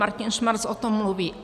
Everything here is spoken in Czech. Martin Schmarcz o tom mluví.